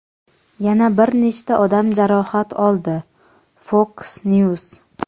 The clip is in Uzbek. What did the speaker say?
yana bir nechta odam jarohat oldi – "Fox News".